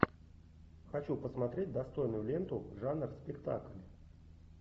хочу посмотреть достойную ленту жанр спектакль